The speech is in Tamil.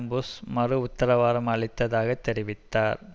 புஷ் மறு உத்தரவாதம் அளித்ததாக தெரிவித்தார்